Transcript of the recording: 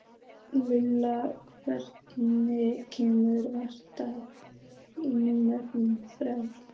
Lillian, hvenær kemur vagn númer þrjátíu?